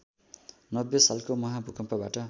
नब्बे सालको महाभूकम्पबाट